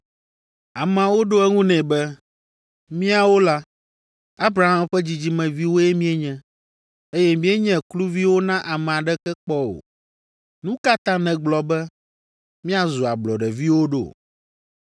Ameawo ɖo eŋu nɛ be, “Míawo la, Abraham ƒe dzidzimeviwoe míenye, eye míenye kluviwo na ame aɖeke kpɔ o. Nu ka ta nègblɔ be, míazu ablɔɖeviwo ɖo?”